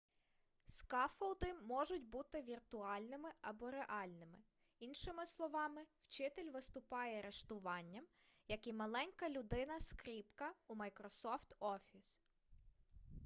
скаффолди можуть бути віртуальними або реальними іншими словами вчитель виступає риштуванням як і маленька людина-скріпка у майкрософт офіс